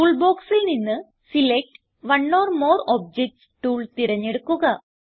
tool boxൽ നിന്ന് select one or more objects tool തിരഞ്ഞെടുക്കുക